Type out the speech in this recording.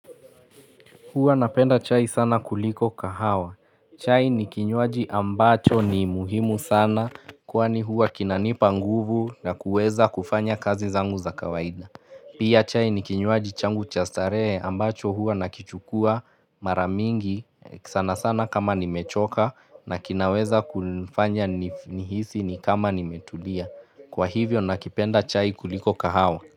Huwa napenda chai sana kuliko kahawa. Chai ni kinywaji ambacho ni muhimu sana kwani huwa kinanipa nguvu na kuweza kufanya kazi zangu za kawaida. Pia chai ni kinywaji changu cha staree ambacho hua nakichukua maramingi sana sana kama nimechoka na kinaweza kunfanya nif nihisi ni kama nimetulia. Kwa hivyo nakipenda chai kuliko kahawa.